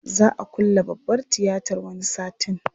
Za a külle babbar tiyatar wani satin.